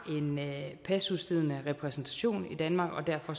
en pasudstedende repræsentation i danmark og